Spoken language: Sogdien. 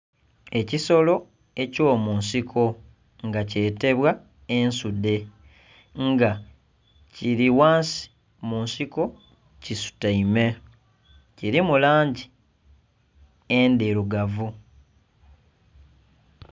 Ekisolo eky'omunsiko nga kyetebwa ensudhe. Nga kili ghansi mu nsiko kisutaime. Kilimu langi endhilugavu.